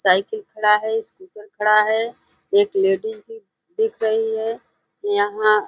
Cycle खड़ा है। Scooter खड़ा है। एक लेडीज भी दिख रही है। यहाँ --